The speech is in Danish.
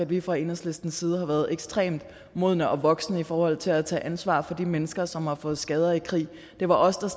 at vi fra enhedslistens side har været ekstremt modne og voksne i forhold til at tage ansvar for de mennesker som har fået skader i krig det var os der